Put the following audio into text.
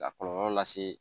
Ka kɔlɔlɔ lase